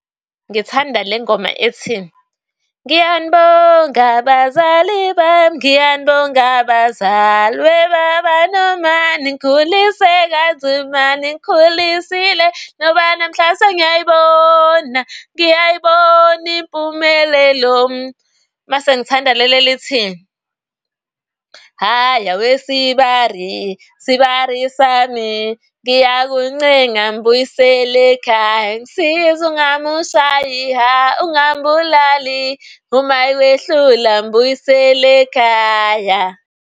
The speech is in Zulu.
Ngithanda le ngoma ethi, ngiyanibonga abazali bami, ngiyanibonga bazali. Webaba noma ningikhulise kanzima, ningikhulisile. Ngoba namhla sengiyayibona, ngiyayibona impumelelo. Mase ngithanda leli elithi, hhayi awesibari sibari sami ngiyakuncenga mbuyisele ekhaya ungisize ungamushayi hha, ungambulali, uma yekwehlula mbuyisele ekhaya.